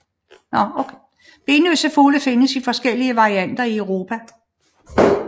Benløse fugle findes i forskellige varianter i Europa